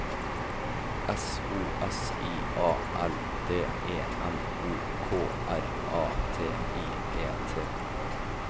S O S I A L D E M O K R A T I E T